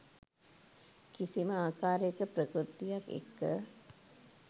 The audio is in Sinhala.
කිසිම ආකාරයක ප්‍රකෘතියක් එක්ක.